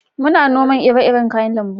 muna noman ire-iren kayan lambu